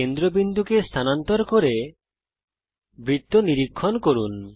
কেন্দ্রবিন্দু কে স্থানান্তরিত করুন এবং বৃত্তের নিরীক্ষণ করুন